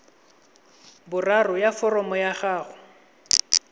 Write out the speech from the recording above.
boraro ya foromo ya gago